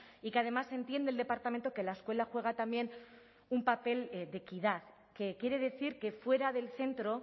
y que además entiende el departamento que la escuela juega también un papel de equidad que quiere decir que fuera del centro